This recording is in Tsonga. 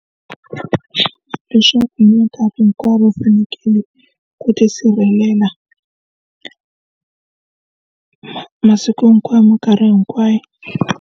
Leswaku minkarhi hinkwayo va fanekele ku tisirhelela masiku hinkwawo minkarhi hinkwayo.